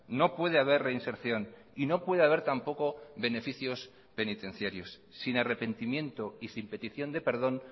no puede haber reinserción y no puede haber tampoco beneficios penitenciarios sin arrepentimiento y sin petición de perdón